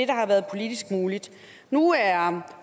der har været politisk muligt nu er